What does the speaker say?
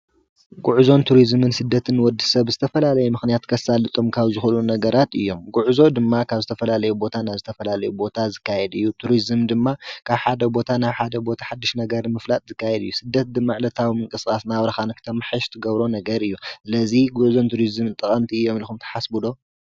ጉዕዞን ቱሪዝምን ስደትን ንወዲ ሰብ ብዝተፈላለየ ምክንያት ከሳልጦም ካብ ዝክእሉ ነገራት እዮም ፡፡ ጉዕዞ ድማ ካብ ዝተፈላለዩ ቦታ ናብ ዝተፈላለዩ ቦታ ዝካየድ እዩ፡፡ ቱሪዝም ድማ ካብ ሓደ ቦታ ናብ ሓደ ቦታ ሓዱሽ ነገር ንምፍላጥ ዝካየድ እዩ፡፡ ስደት ዕለታዊ ምንቅስቃስና ናብራካ ንክተማሓሽ እትገብሮ ነገር እዩ፡፡ ስለዚ ጉዕዞን ቱሪዝምን ጠቀምቲ እዮም ኢልኩም ትሓስቡ ዶ?